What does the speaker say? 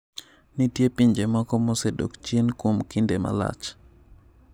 Nitie pinje moko mosedok chien kuom kinde malach.